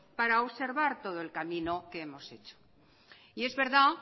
para observar todo el camino que hemos hecho y es verdad